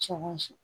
Cogo si